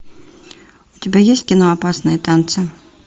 у тебя есть кино опасные танцы